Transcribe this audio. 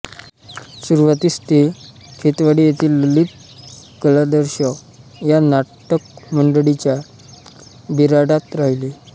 सुरुवातीस ते खेतवाडी येथे ललितकलादर्श या नाटकमंडळीच्या बिऱ्हाडात राहिले